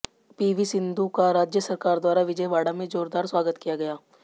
PV Sindhu का राज्य सरकार द्वारा विजयवाड़ा में जोरदार स्वागत किया गया